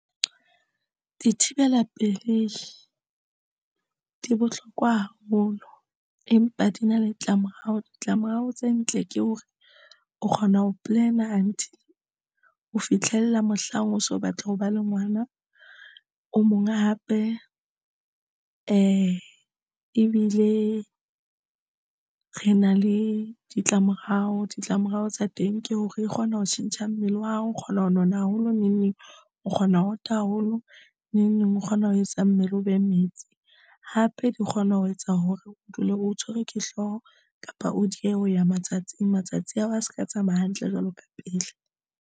Dithibela pelei di bohlokwa haholo empa di na le ditlamorao. Ditlamorao tse ntle ke hore o kgona ho plan until ho fitlhella mohlang o so batla ho ba le ngwana o mong a hape ebile re na le ditlamorao, ditlamorao tsa teng ke hore e kgona ho tjhentjha mmele wa hao o kgona ho nona haholo neng neng o kgona ho ota haholo neng neng o kgona ho etsa mmele o be metsi, hape di kgona ho etsa hore o dule o tshwerwe ke hlooho kapa o diehe ho ya matsatsing. Matsatsi ha o a se ka tsamaya hantle jwalo ka pele.